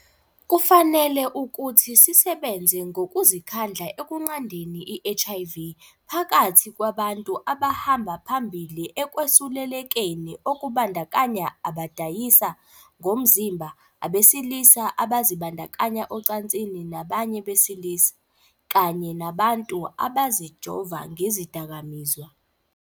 Kufanele ukuthi sisebenze ngokuzikhandla ekunqandeni i-HIV phakathi kwabantu abahamba phambili ekwesul-lekeni, okubandakanya abadayisa ngomzimba, abesilisa abazibandakanya ocansini nabanye besilisa, kanye nabantu abazijova ngezidakamizwa.